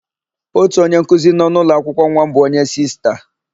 Ótù onyenkuzi nọ n'ụlọakwụkwọ nwa m bụ onye Sista.